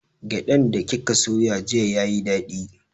Gyaɗan da kika soya jiya yayi daɗi